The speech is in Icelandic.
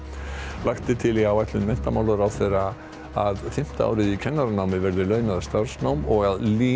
lagt er til í áætlun menntamálaráðherra að fimmta árið í kennaranámi verði launað starfsnám og að LÍN